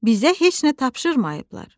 Bizə heç nə tapşırmayıblar.